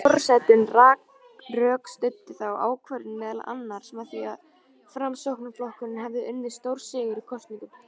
Forsetinn rökstuddi þá ákvörðun meðal annars með því að Framsóknarflokkurinn hefði unnið stórsigur í kosningunum.